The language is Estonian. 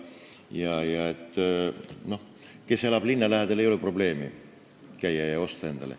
Sellel, kes elab linna lähedal, ei ole probleemi käia ja padruneid osta.